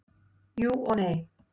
Jú, og nei.